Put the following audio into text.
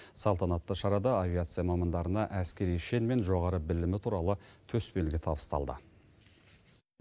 салтанатты шарада авиация мамандарына әскери шен мен жоғары білімі туралы төсбелгі табысталды